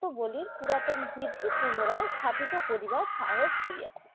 পুরাতন বিধি পুনারায় স্থাপিত করিবার সাহস করিয়াছি।